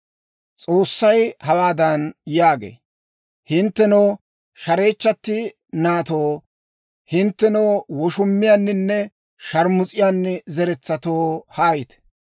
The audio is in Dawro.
S'oossay hawaadan yaagee; «Hinttenoo, shareechchatti naatoo, hinttenoo woshumiyaaninne shaarmus'iyaani zeretsatoo, haayite.